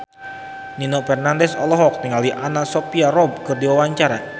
Nino Fernandez olohok ningali Anna Sophia Robb keur diwawancara